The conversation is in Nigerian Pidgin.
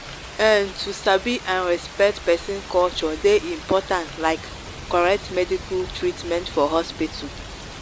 ehn to sabi and respect person culture dey important like correct medical treatment for hospital.